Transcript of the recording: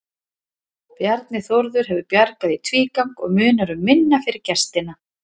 Bjarni Þórður hefur bjargað í tvígang og munar um minna fyrir gestina.